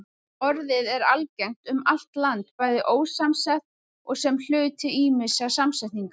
Orðið er algengt um allt land, bæði ósamsett og sem hluti ýmissa samsetninga.